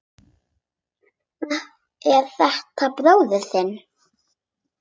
Er þetta bróðir þinn?